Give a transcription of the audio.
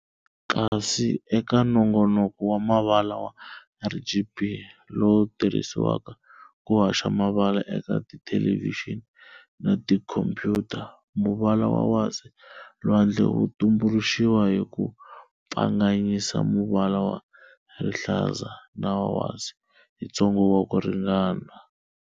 Kasi eka nongonoko wa mavala wa RGB, lowu tirhisiwaka ku haxa mavala eka tithelevixini na tikhompuyuta, muvala wa wasi-lwandle wu tumbuluxiwa hi ku pfanganyisa muvala wa rihlaza na wa wasi hi ntsengo wa ku ringana.